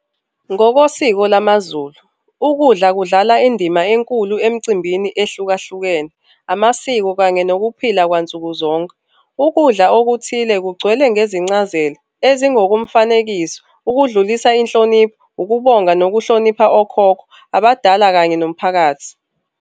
Ngokosiko lamaZulu, ukudla kudlala indima enkulu emcimbini ehlukahlukene, amasiko kanye nokuphila kwansuku zonke. Ukudla okuthile kugcwele ngezincazelo ezingokomfanekiso, ukudlulisa inhlonipho, ukubonga nokuhlonipha okhokho, abadala kanye nomphakathi